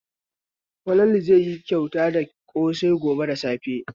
Falalu zai yi kyauta da ƙosai gobe da safe.